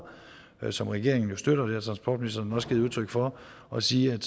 som regeringen jo støtter og det har transportministeren også givet udtryk for og sige at